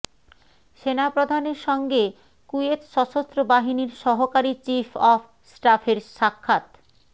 সেনাপ্রধানের সঙ্গে কুয়েত সশস্ত্রবাহিনীর সহকারী চিফ অব স্টাফের সাক্ষাৎ